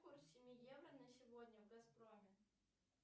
курс семи евро на сегодня в газпроме